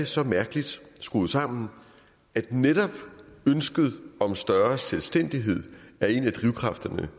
så mærkeligt sammen at netop ønsket om større selvstændighed er en af drivkræfterne